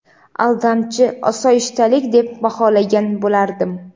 aldamchi osoyishtalik deb baholagan bo‘lardim.